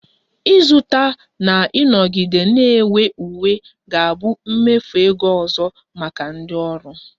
Ịzụta na ịnọgide na-enwe uwe ga-abụ mmefu ego ọzọ maka ndị ọrụ